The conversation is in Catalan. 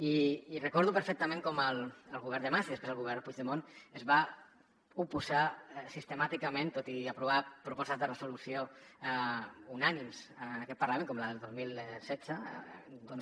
i recordo perfectament com el govern de mas i després el govern puigdemont es van oposar sistemàticament tot i aprovar propostes de resolució unànimes en aquest parlament com la del dos mil setze doncs